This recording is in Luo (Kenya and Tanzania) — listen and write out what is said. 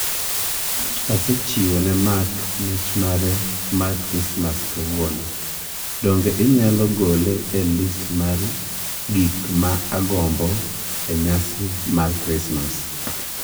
Asechiwo ne Mark mich mare mar Krismas kawuono. Donge inyalo gole e list mar gik ma agombo e nyasi mar Krismas?